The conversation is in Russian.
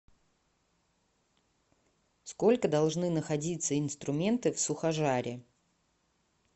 сколько должны находиться инструменты в сухожаре